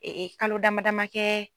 kalo dama dama kɛ